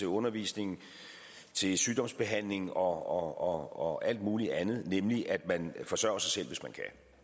undervisning til sygdomsbehandling og alt muligt andet nemlig at man forsørger sig selv hvis man